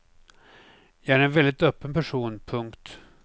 Jag är en väldigt öppen person. punkt